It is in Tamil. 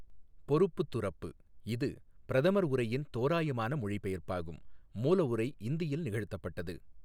பொறுப்புதுறப்பு இது பிரதமர் உரையின் தோராயமான மொழிபெயர்ப்பாகும் மூலஉரை இந்தியில் நிகழ்த்தப்பட்டது.